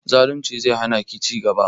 Zalunci zai hana ki ci gaba